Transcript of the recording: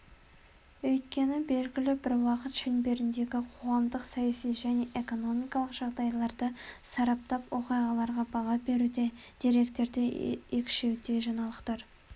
өйткені белгілі бір уақыт шеңберіндегі қоғамдық-саяси және экономикалық жағдайларды сараптап оқиғаларға баға беруде деректерді екшеуде жаңалықтар